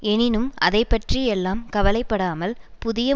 எனினும் அதைபற்றியெல்லாம் கவலை படாமல் புதிய